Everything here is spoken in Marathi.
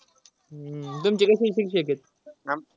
तुमचे कसे शिक्षक आहेत?